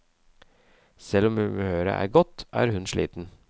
Selv om humøret er godt, er hun sliten.